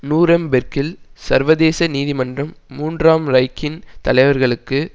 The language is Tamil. நூரெம்பேர்க்கில் சர்வதேச நீதிமன்றம் மூன்றாம் ரைக்கின் தலைவர்களுக்கு